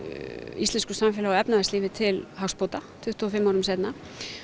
íslensku samfélagi og efnahagslífi til hagsbóta tuttugu og fimm árum seinna